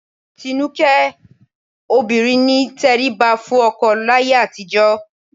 Tinúkẹ́, obìnrin ní ìtẹríba fún ọkọ láyé àtijọ́